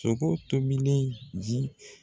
Sogo tobilen ji